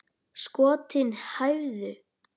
Skotin hæfðu!